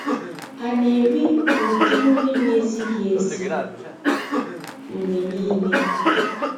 A na-eri ụdị nri na-ezighi ezi mgbe niile?